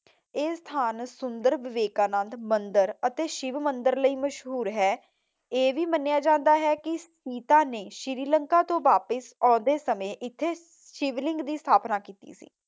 ਇਹ ਸਥਾਨ ਸੁੰਦਰ ਵਿਵੇਕਾਨੰਦ ਮੰਦਰ ਅਤੇ ਸ਼ਿਵ ਮੰਦਰ ਲਈ ਮਸ਼ਹੂਰ ਹੈ। ਇਹ ਵੀ ਮੰਨਿਆ ਜਾਂਦਾ ਹੈ ਕੇ ਸੀਤਾ ਨੇ ਸ਼੍ਰੀ ਲੰਕਾ ਤੋਂ ਵਾਪਿਸ ਆਉਂਦੇ ਸਮੇਂ ਇਥੇ ਸ਼ਿਵਲਿੰਗ ਦੀ ਸਥਾਪਨਾ ਕੀਤੀ ਸੀ।